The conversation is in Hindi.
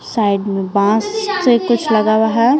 साइड में बांस से कुछ लगा हुआ है ।